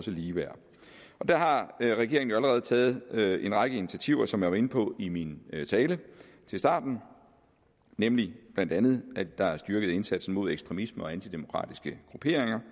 ligeværd der har regeringen jo allerede taget en række initiativer som jeg var inde på i min tale i starten nemlig blandt andet at der er en styrket indsats mod ekstremisme og antidemokratiske grupperinger